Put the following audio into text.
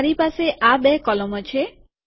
તો મારી પાસે આ બે કોલમો છે